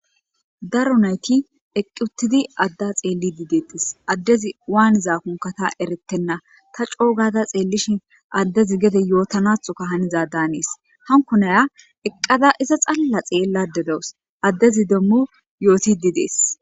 Daro adeti eqi utidi ada xelide detesi, ades waanizakoka tasi eretena ta co gada xelishn adezi gede yootanathoka haniza danesi. Hanko Naya eqada iza xala xelayda dawusi adezi demo yootidi Desi.